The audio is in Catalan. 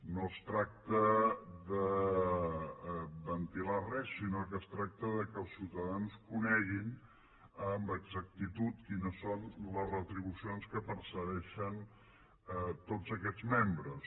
no es tracta de ventilar res sinó que es tracta que els ciutadans coneguin amb exactitud quines són les retribucions que perceben tots aquests membres